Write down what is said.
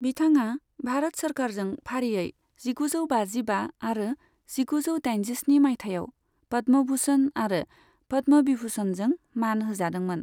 बिथाङा भारत सोरखारजों फारियै जिगु जौ बाजिबा आरो जिगुजौ दाइनजिस्नि माइथायाव पद्म भूषण आरो पद्म विभूषणजों मान होजादोंमोन।